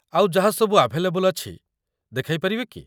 ଆଉ ଯାହାସବୁ ଆଭେଲେବଲ୍ ଅଛି, ଦେଖାଇପାରିବେ କି?